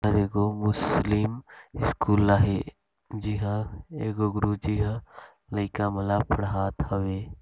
और एगो Muslim school हे जी हाँ एगो गुरु जी ह लइका मन ला पढ़ात हवे।